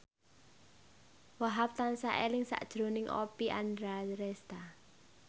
Wahhab tansah eling sakjroning Oppie Andaresta